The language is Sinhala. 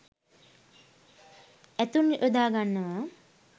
ඇතුන් යොදා ගන්නවා.